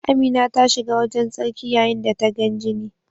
Amina ta shiga wajen tsarki yayin da tana gan jini.